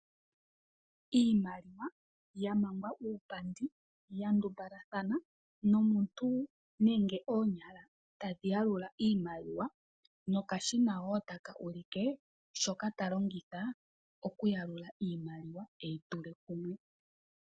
Iimaliwa yamangwa uupandi yandumbalathana, nomuntu neenge oonyala tadhi yalula iimaliwa ,no kashina wotaka ulike shoka ta longitha okuyalula iimaliwa eyi tule kumwe.